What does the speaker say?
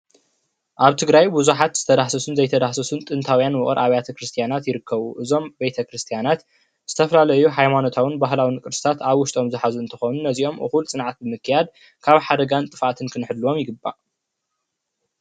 አብ ትግራይ ብዙሓት ዝተዳህሰሱን ዘይተዳህሰሱን ጥንታዊ ውቅር አብያተ ክርስትያን ይርከቡ። እዞም ቤተክርስትያናት ዝተፈላለዩ ሃይማኖታውን ባህላዊ ቅርስታት አብ ውሽጦም ዝሓዙ እንትኾኑ ነዚኦም እኹል ፅንዓት ንምክያድ ካበ ሓደጋን ጥፍአትን ክንህልዎም ይግባእ፡፡